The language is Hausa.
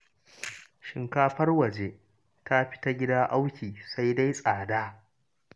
Shinkafar waje ta fi ta gida auki sai dai tsada.